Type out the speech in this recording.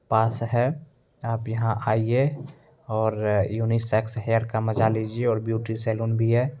पास है आप यहां आइये और यूनिसेक्स हेयर का मजा लीजिए और ब्यूटी सलून भी है।